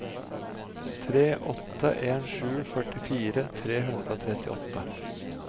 tre åtte en sju førtifire tre hundre og trettiåtte